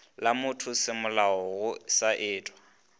la mothosemolao go sa etwe